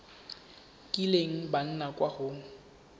kileng ba nna kwa go